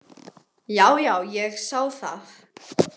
Já, já, ég sá það.